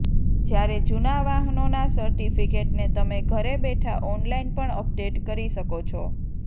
જ્યારે જૂના વાહનોના સર્ટિફિકેટને તમે ઘરે બેઠા ઓનલાઈન પણ અપડેટ કરી શકો છો